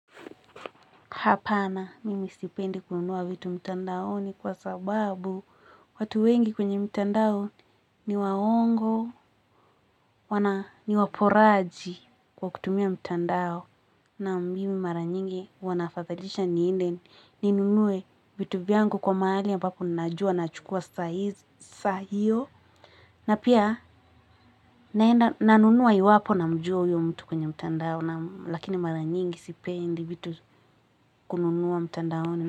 Hapana, mimi sipendi kununua vitu mtandaoni kwa sababu watu wengi kwenye mtandao ni waongo, ni waporaji kwa kutumia mtandao. Naam mimi mara nyingi huwa naafadhalisha ninde ninunue vitu vyangu kwa mahali ambapo ninajua naachukua saa hiyo. Na pia nanunua iwapo namjua huyo mtu kwenye mtandao, lakini mara nyingi sipendi vitu kununua mtandaoni.